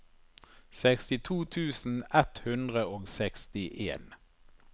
sekstito tusen ett hundre og sekstien